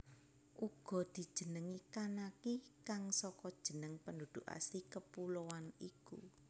Uga dijenengi Kanaki kang saka jeneng penduduk asli kepuloan iku